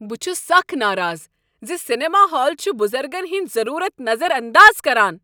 بہٕ چھس سخ ناراض ز سینما ہال چھ بُزرگن ہندۍ ضرورت نظر انداز کران۔